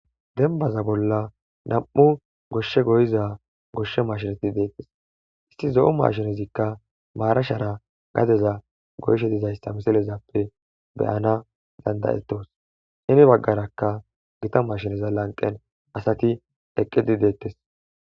Denbaza bolla nam7u goshshe goyiza goshshe mashinati deettes. isti zo7u mashinezikka maarashara gadeza goyshe dizayssa misilezappe beyana dandayettos shimi baggarakka gita mashineza lanqen asati eqqidi deettes.